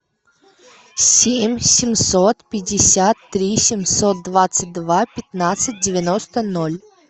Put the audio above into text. семь семьсот пятьдесят три семьсот двадцать два пятнадцать девяносто ноль